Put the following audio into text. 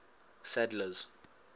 sadler's